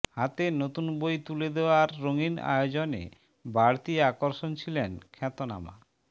হাতে নতুন বই তুলে দেওয়ার রঙিন আয়োজনে বাড়তি আকর্ষণ ছিলেন খ্যাতনামা